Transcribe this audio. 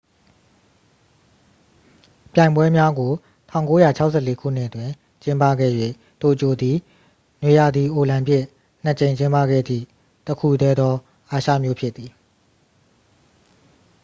ပြိုင်ပွဲများကို 1964 ခုနှစ် တွင် ကျင်းပခဲ့၍ တိုကျိုသည် နွေရာသီအိုလံပစ် နှစ် ကြိမ်ကျင်းပခဲ့သည့် တစ်ခုတည်းသော အာရှမြို့ဖြစ်သည်